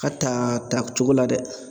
Ka taa takcogo la dɛ